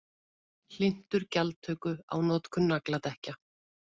Hlynntur gjaldtöku á notkun nagladekkja